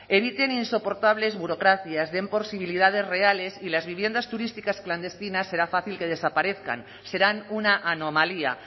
eviten insoportables burocracias den posibilidades reales y las viviendas turísticas clandestinas será fácil que desaparezcan serán una anomalía